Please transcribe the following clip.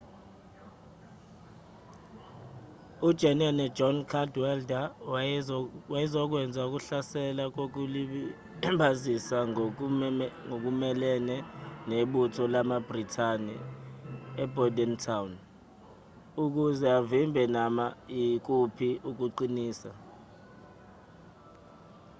ujenene john cadwalder wayezokwenza ukuhlasela kokulibazisa ngokumelene nebutho lamabhrithani ebordentown ukuze avimbe noma ikuphi ukuqinisa